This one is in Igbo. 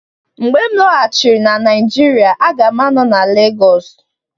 Mgbe m lọghachiri na Naijiria, a ga m anọ na Lagosu